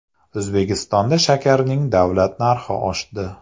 O‘zbekistonda shakarning davlat narxi oshdi .